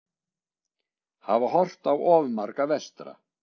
Hafa horft á of marga vestra